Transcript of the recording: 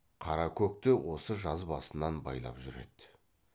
қара көкті осы жаз басынан байлап жүр еді